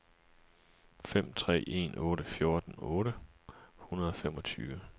fem tre en otte fjorten otte hundrede og femogtyve